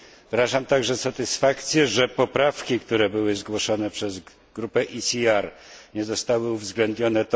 Wyrażam także satysfakcję, że poprawki, które były zgłoszone przez grupę EKR nie zostały uwzględnione.